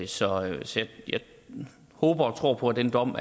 så jeg håber og tror på at den dom